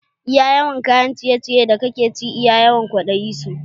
Iya yawan kayan ciye ciyen da kake ci iya yawan kwaɗayi su